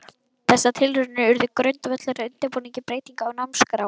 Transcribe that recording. Þessar tilraunir urðu grundvöllur að undirbúningi breytinga á námskrá.